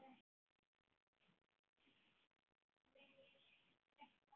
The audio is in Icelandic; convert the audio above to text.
Mun ég sekta hann?